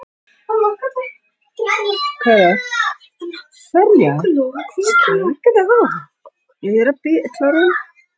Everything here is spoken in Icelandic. Ólafi var manna best treyst til að þekkja innsiglinguna til Eyjafjarðar.